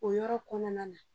O yɔrɔ kɔnɔna na